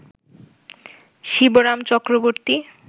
Shibram Chakraborty